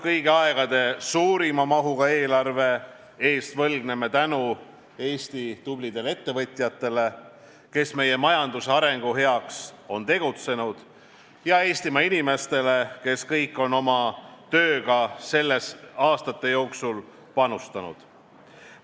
Kõigi aegade suurima mahuga eelarve eest võlgneme tänu Eesti tublidele ettevõtjatele, kes meie majanduse arengu heaks on tegutsenud, ja Eestimaa inimestele, kes kõik on oma tööga sellesse aastate jooksul panustanud.